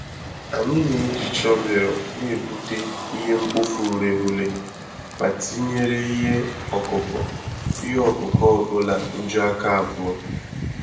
Anyị na-eji shọvel na-egbute ihe-mkpofu-ureghure, ma tinyere ihe ọkụkụ ihe ọkụkụ ọbula nju-aka abụọ.